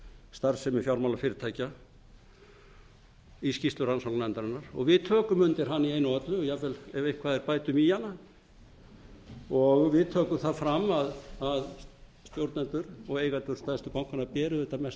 starfsemi fjármálafyrirtækja í skýrslu rannsóknarnefndarinnar og við tökum undir hana í einu öllu og jafnvel ef eitthvað er bætum í hana við tökum það fram að stjórnendur og eigendur stærstu bankanna bera auðvitað mesta ábyrgð